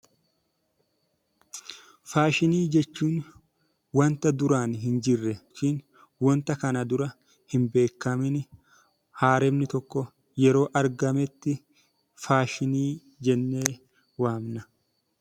Faashinii jechuun wanta duraan hin jirre yookiin kana dura hin beekamiin haala inni tokko yeroo argametti faashinii jennee waamna.